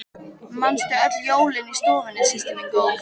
Manstu öll jólin í stofunni systir mín góð.